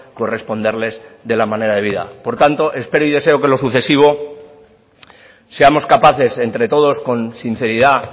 corresponderles de la manera debida por tanto espero y deseo que en lo sucesivo seamos capaces entre todos con sinceridad